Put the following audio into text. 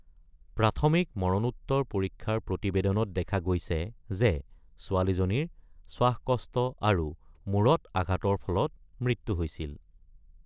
প্ৰাথমিক মৰণোত্তৰ পৰীক্ষাৰ প্ৰতিবেদনত দেখা গৈছে যে ছোৱালীজনীৰ শ্বাসকষ্ট আৰু মূৰত আঘাতৰ ফলত মৃত্যু হৈছিল।